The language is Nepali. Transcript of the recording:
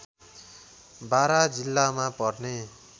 बारा जिल्लामा पर्ने